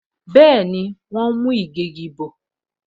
Bẹẹni, wọn ń mú ìgégi bò